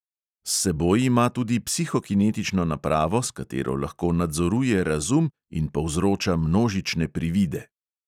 S seboj ima tudi psihokinetično napravo, s katero lahko nadzoruje razum in povzroča množične privide.